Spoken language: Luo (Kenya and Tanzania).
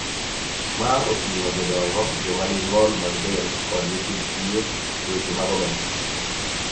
Ma oting�o jodongo, joma nigi ng'ol mag del, kod nyithind kiye�e weche mag omenda.